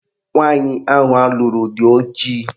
Nwaanyi ahụ alụrụ dị ojii